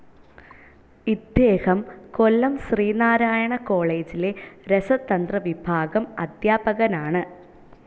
ഇദ്ദേഹം കൊല്ലം ശ്രീനാരായണ കോളേജിലെ രസതന്ത്ര വിഭാഗം അദ്ധ്യാപകനാണ്.